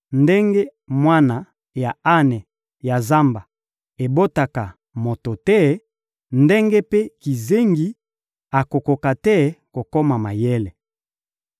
Ndenge mwana ya ane ya zamba ebotaka moto te, ndenge mpe kizengi akokoka te kokoma mayele.